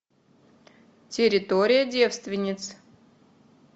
территория девственниц